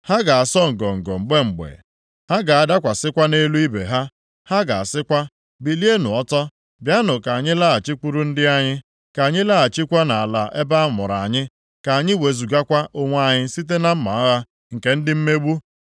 Ha ga-asọ ngọngọ mgbe mgbe, ha ga-adakwasịkwa nʼelu ibe ha. Ha ga-asịkwa, ‘Bilienụ ọtọ, bịanụ ka anyị laghachikwuru ndị anyị, ka anyị laghachikwa nʼala ebe a mụrụ anyị, ka anyị wezugakwa onwe anyị site na mma agha nke ndị mmegbu.’